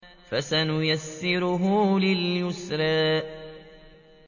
فَسَنُيَسِّرُهُ لِلْيُسْرَىٰ